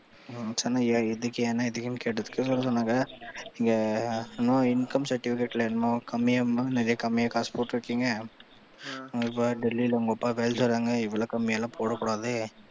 என்ன எதுக்குன்னு கேட்டதுக்கு சொன்னாங்க நீங்க இன்னும் income certificate ல கம்மியா நிறைய கம்மியா காசு போட்டுருக்கீங்க உங்க அப்பா கையெழுத்து வேற இவ்வளவு கம்மியா எல்லாம் போட கூடாது.